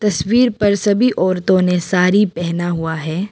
तस्वीर पर सभी औरतों ने साड़ी पहना हुआ है।